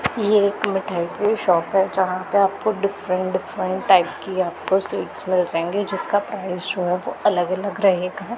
ये एक मिठाई की शॉप है जहां पे आपको डिफरेंट डिफरेंट टाइप की आपको स्वीट्स मिल जाएंगे जिसका प्राइज जो है वो अलग अलग रहेगा।